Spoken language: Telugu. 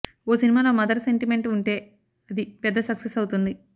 ఓ సినిమాలో మదర్ సెంటిమెంట్ ఉంటే అది పెద్ద సక్సెస్ అవుతుంది